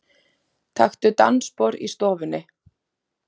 Taktu dansspor í stofunni.